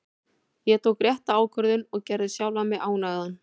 Ég tók rétta ákvörðun og gerði sjálfan mig ánægðan.